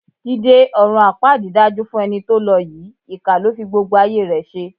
Jídé, ọ̀run àpáàdì dájú fún ẹni tó lọ yìí, ìkà ló fi gbogbo ayé rẹ ṣe.